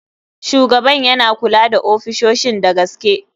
Shugaban yana kula da ofisoshin da gaske.